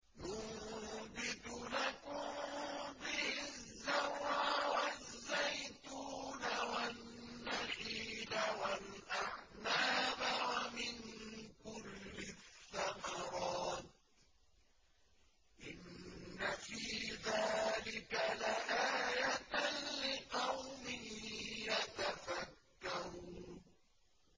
يُنبِتُ لَكُم بِهِ الزَّرْعَ وَالزَّيْتُونَ وَالنَّخِيلَ وَالْأَعْنَابَ وَمِن كُلِّ الثَّمَرَاتِ ۗ إِنَّ فِي ذَٰلِكَ لَآيَةً لِّقَوْمٍ يَتَفَكَّرُونَ